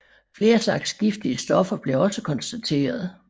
Flere slags giftige stoffer blev også konstateret